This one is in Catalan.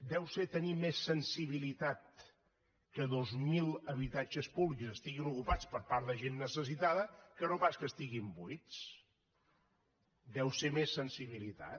deu ser tenir més sensibilitat que dos mil habitatges públics estiguin ocupats per part de gent necessitada que no pas que estiguin buits deu ser més sensibilitat